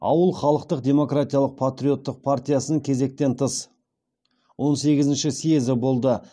ауыл халықтық демократиялық патриоттық партиясының кезектен тыс он сегізінші съезі болды